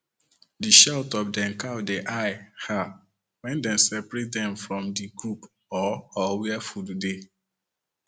the shout of dem cow de high um wen dem separate dem from the group or or where food dey